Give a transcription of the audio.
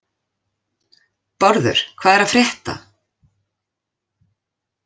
Bárður, hvað er að frétta?